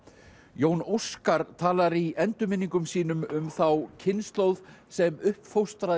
Jón Óskar talar í endurminningum sínum um þá kynslóð sem upp